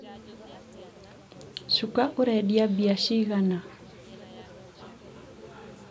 cuka ũrendia mbia cigana?